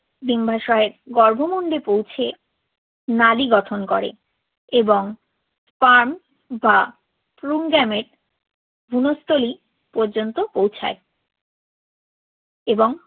ডিম্বাশয়ের গর্ভমুণ্ডে পৌঁছে নালি গঠন করে এবং পান বা পুংগ্যামেট ভ্রূণস্থলী পর্যন্ত পৌঁছায় এবং